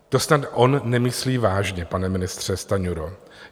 To snad on nemyslí vážně, pane ministře Stanjuro.